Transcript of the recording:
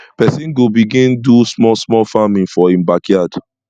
persin go begin do small small farming for e backyard